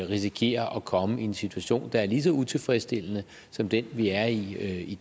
risikerer at komme i en situation der er lige så utilfredsstillende som den vi er i